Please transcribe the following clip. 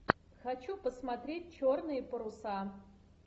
хочу посмотреть черные паруса